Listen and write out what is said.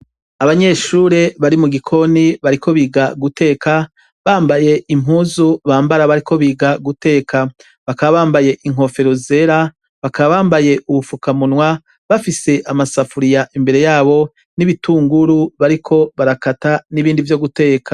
Abanyeshure bari mu gikoini bariko biga guteka. Bambaye impuzu bambara bariko biga guteka. Bakaba bambaye inkofero zera, bakaba bambaye ubupfukamunwa, bafise amasafuriya imbere y'abo, n'ibitunguru bariko barakara n'ibindi vyo guteka.